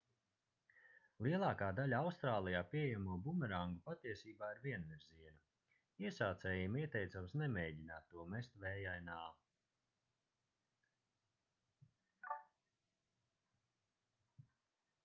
lielākā daļa austrālijā pieejamo bumerangu patiesībā ir vienvirziena iesācējiem ieteicams nemēģināt to mest vējainā